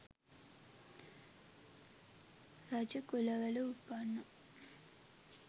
රජකුලවල උපන්නා.